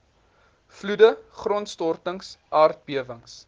vloede grondstortings aardbewings